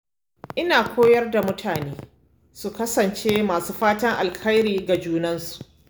Ina koyar da mutane su kasance masu fatan alheri ga junansu.